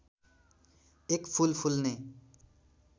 एक फूल फुल्ने